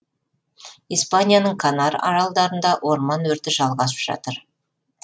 испанияның канар аралдарында орман өрті жалғасып жатыр